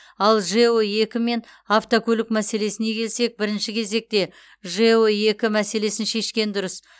ал жэо екі мен автокөлік мәселесіне келсек бірінші кезекте жэо екі мәселесін шешкен дұрыс